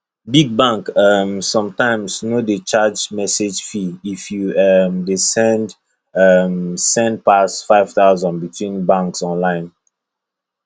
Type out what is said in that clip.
big bank um sometimes no dey charge message fee if you um dey um send pass five thousand between banks online